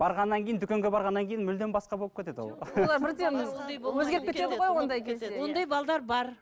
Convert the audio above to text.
барғаннан кейін дүкенге барғаннан кейін мүлдем басқа болып кетеді ол ондай бар